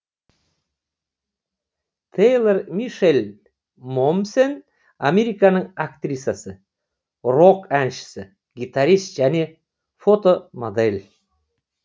те йлор мише ль мо мсен американың актрисасы рок әншісі гитарист және фотомодель